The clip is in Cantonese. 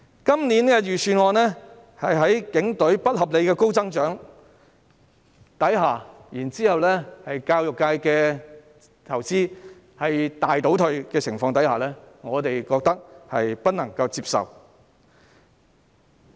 今年的預算案對警隊的撥款有不合理的高增長，以及對教育界的投資大為倒退，我們覺得不能接受。